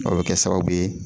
O be kɛ sababu ye